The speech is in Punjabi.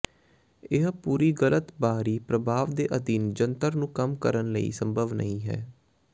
ਇਹ ਪੂਰੀ ਗਲਤ ਬਾਹਰੀ ਪ੍ਰਭਾਵ ਦੇ ਅਧੀਨ ਜੰਤਰ ਨੂੰ ਕੰਮ ਕਰਨ ਲਈ ਸੰਭਵ ਨਹੀ ਹੈ